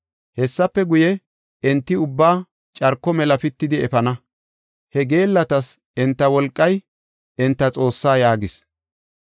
Hessafe guye, enti ubbaa carko mela pitidi efana. He geellatas enta wolqay enta xoossaa” yaagis.